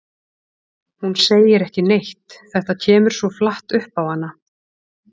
Hún segir ekki neitt, þetta kemur svo flatt upp á hana.